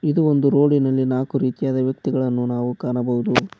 ಇದು ಒಂದು ರೋಡಿನಲ್ಲಿ ನಾಲ್ಕು ರೀತಿಯಾದ ವ್ಯಕ್ತಿಗಳನ್ನು ನಾವು ಕಾಣಬಹುದು .